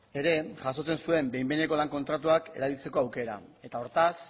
ere jasotzen zuen behin behineko lan kontratuak erabiltzeko aukera eta hortaz